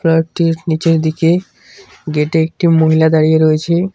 টির নীচের দিকে গেট -এ একটি মহিলা দাঁড়িয়ে রয়েছে।